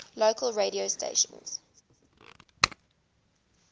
local radio stations